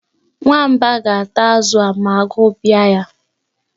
Nwamba ga-ata azụ a ma agụụ bia ya.